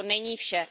A to není vše.